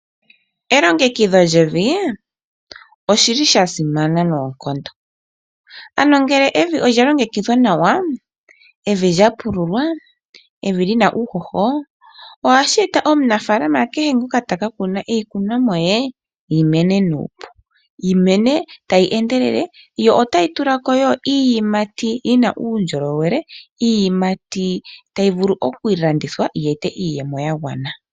Elongekidho lyevi oshili simana noonkondo. Ano ngele evi olya longekidhwa nawa, evi lya pululwa, evi li na uuhoho ohashi eta omunafaalama kehe ngoka ta ka kuna iikunomwa ye yi mene nuupu, yi mene tayi endelele yo otayi tula ko wo iiyimati yi na uundjolowele, iiyimati tayi vulu okulandithwa yi ete iiyemo ya gwana.